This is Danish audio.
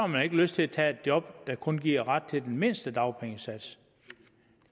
man ikke lyst til at tage et job der kun giver ret til den mindste dagpengesats